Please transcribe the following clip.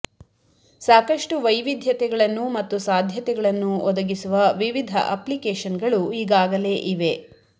ಸಾಕಷ್ಟು ವೈವಿಧ್ಯತೆಗಳನ್ನು ಮತ್ತು ಸಾಧ್ಯತೆಗಳನ್ನು ಒದಗಿಸುವ ವಿವಿಧ ಅಪ್ಲಿಕೇಶನ್ಗಳು ಈಗಾಗಲೇ ಇವೆ